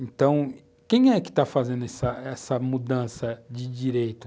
Então, quem é que está fazendo essa mudança de direito?